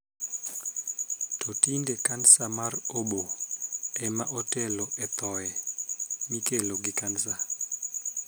To tinde, kansa mar oboo ema otelo e thoye mikelo gi kansa.